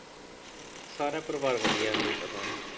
ਸਾਰਾ ਪਰਿਵਾਰ ਵਧੀਆ ਹੈ ਮੈਨੂੰ ਪਤਾ ਹੈ।